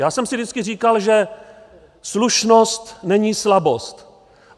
Já jsem si vždycky říkal, že slušnost není slabost.